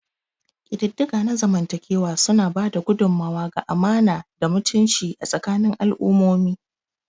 Ƙididdiga na zamantakewa suna ba da gudummawa ga amana da mutunci a tsakanin al'ummomi.